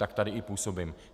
Tak tady i působím.